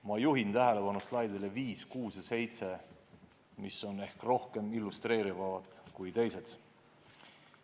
Ma juhin tähelepanu slaididele nr 5, 6 ja 7, mis on ehk rohkem illustreerivad kui teised.